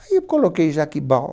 Aí eu coloquei Jaquibau.